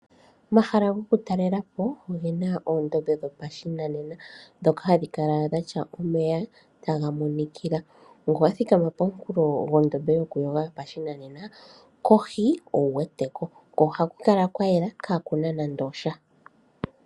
Omahala gokutalelwapo ogena oondombe nenge uundama wopashinanena. Omahala goludhi nduno ohaga kala gena omeya taga monikila. Uuna ngele wathikama pehala nduno kohi oho kala wuweteko. Ohaku kala kwayela kwaana nando osha.